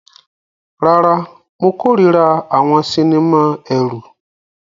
Rárá, mo kórìíra àwọn sinimá ẹ̀rù.